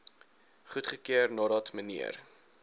goedgekeur nadat mnr